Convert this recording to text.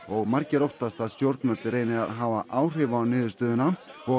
margir óttast að stjórnvöld reyni að hafa áhrif á niðurstöðuna og